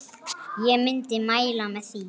Ég myndi mæla með því.